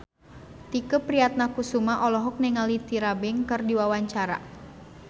Tike Priatnakusuma olohok ningali Tyra Banks keur diwawancara